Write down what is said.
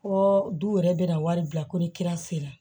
Ko du wɛrɛ bɛ na wari bila ko ni kira sera